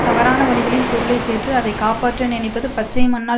தவறான வழிகளில் பொருளை சேர்த்து அதை காப்பாற்ற நினைப்பது பச்சை மண்ணால்